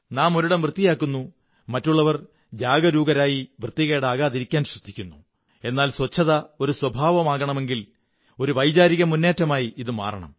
നാം ഒരിടം വൃത്തിയാക്കുന്നു മറ്റുള്ളവർ ജാഗരൂകരായി വൃത്തികേടാകാതിരിക്കാൻ ശ്രദ്ധിക്കുന്നു എന്നാൽ ശുചിത്വം ഒരു സ്വഭാവമാകണമെങ്കിൽ ഒരു വൈകാരികമുന്നേറ്റമായി ഇതു മാറണം